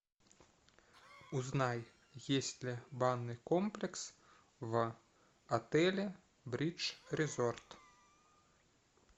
узнай есть ли банный комплекс в отеле бридж резорт